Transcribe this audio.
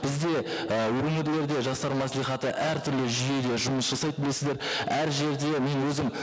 бізде і өңірлерде жастар мәслихаты әртүрлі жүйеде жұмыс жасайды білесіздер әр жерде мен өзім